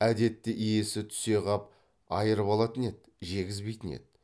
әдетте иесі түсе қап айрып алатын еді жегізбейтін еді